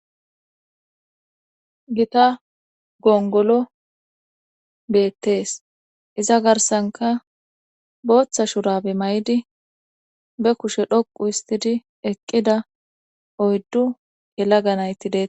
Gita gongolo beettees iza garsanka booththa shurabe may7idi be kushe dhoqu histidi eqqida oyddu yelaga nayti dea.